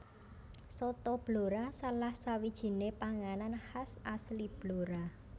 Soto Blora salah sawijine panganan khas asli Blora